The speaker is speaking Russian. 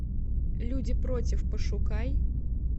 люди против пошукай